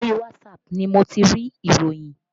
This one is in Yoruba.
Orí whatsapp ni mo ti rí ìròyìn